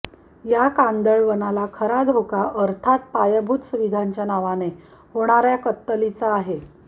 या कांदळवनाला खरा धोका अर्थात पायाभूत सुविधांच्या नावाने होणाऱ्या कत्तलीचा आहे